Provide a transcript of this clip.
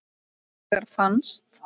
Hins vegar fannst